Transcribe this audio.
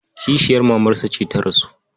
Kishiyar mamarsa ce ta rasu.